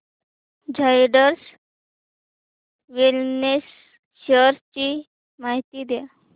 Zydus Wellness shares ची माहिती द्या